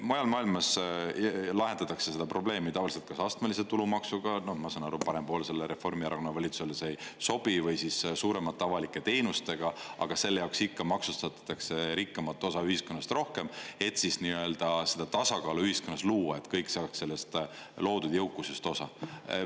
Mujal maailmas lahendatakse seda probleemi tavaliselt kas astmelise tulumaksuga – ma saan aru, et parempoolsele Reformierakonna valitsusele see ei sobi – või siis suuremate avalike teenustega, aga selle jaoks ikka maksustatakse rikkamat osa ühiskonnast rohkem, et tasakaalu ühiskonnas luua ja et kõik saaksid loodud jõukusest osa.